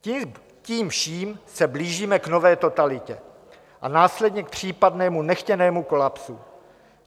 Tím vším se blížíme k nové totalitě a následně k případnému nechtěnému kolapsu.